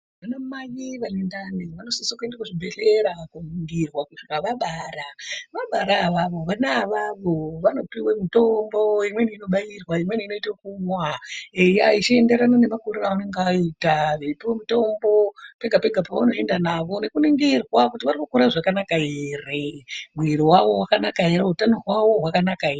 Vanamai vane ndani vanosisa kuenda kuzvibhedhlera koningirwa kusvika vabara , vabara avaavo vana avavo vanopiwe imweni mitombo imweni inobairwa imweni inoita ekumwa echienderana nemakuriro aanenge aita eipuwe mitombo pega pega pavanoenda navo nekuningirwa kuti varikukura zvakanaka ere mwiri wawo wakanaka ere utano hwawo hwakanaka ere.